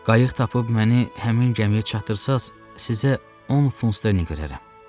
Qayıq tapıb məni həmin gəmiyə çatdırsaız, sizə 10 funt ustalığın verərəm.